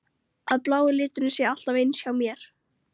Að blái liturinn sé alltaf eins hjá mér?